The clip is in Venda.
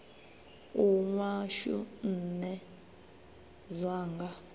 u nwa shu nṋe zwanga